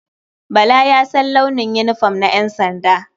Bala ya san launin yinifom na ƴansanda.